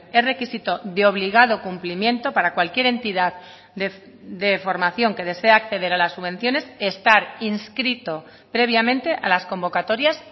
es requisito de obligado cumplimiento para cualquier entidad de formación que desea acceder a las subvenciones estar inscrito previamente a las convocatorias